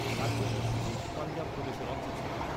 রাজ্যটি ব্রিটিশ পাঞ্জাব প্রদেশের অংশ ছিল।